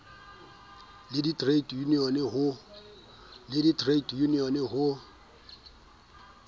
le di trade unions ho